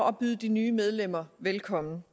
at byde de nye medlemmer velkommen